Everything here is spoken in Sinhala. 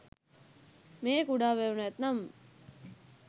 මේ කුඩා වැව නැත්නම්